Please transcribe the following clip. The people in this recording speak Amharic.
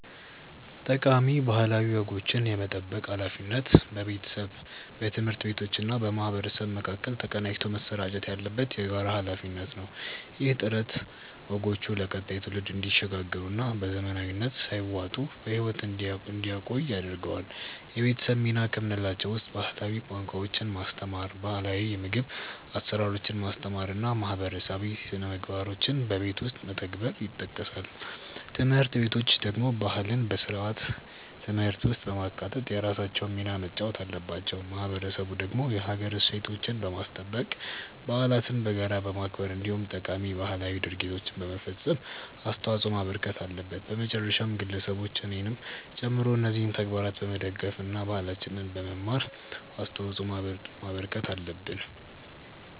ጠቃሚ ባህላዊ ወጎችን የመጠበቅ ሃላፊነት በቤተሰብ፣ በትምህርት ቤቶችና በማህበረሰብ መካከል ተቀናጅቶ መሰራጨት ያለበት የጋራ ሃላፊነት ነው። ይህ ጥረት ወጎቹ ለቀጣዩ ትውልድ እንዲሸጋገሩና በዘመናዊነት ሳይዋጡ በህይወት እንዲቆዩ ያደርጋል። የቤተሰብ ሚና ከምንላቸው ውስጥ ባህላዊ ቋንቋዎችን ማስተማር፣ ባህላው የምግብ አሰራሮችን ማስተማር እና ማህበረሰባዊ ስነምግባሮችን በቤት ውስጥ መተግበር ይጠቀሳሉ። ትምህርት ቤቶች ደግሞ ባህልን በስርዓተ ትምህርት ውስጥ በማካተት የራሳቸውን ሚና መጫወት አለባቸው። ማህበረሰቡ ደግሞ የሀገር እሴቶችን በማስጠበቅ፣ በዓለትን በጋራ በማክበር እንዲሁም ጠቃሚ ባህላዊ ድርጊቶችን በመፈፀም አስተዋጽዖ ማበርከት አለበት። በመጨረሻም ግለሰቦች እኔንም ጨምሮ እነዚህን ተግባራት በመደገፍ እና ባህላችንን በመማር አስተዋጽዖ ማበርከት አለብን።